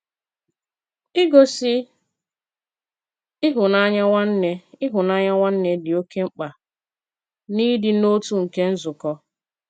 Ìgosí ịhụ́nanya nwanne ịhụ́nanya nwanne dị oke mkpa n’ịdị̀ n’otu nke nzùkọ.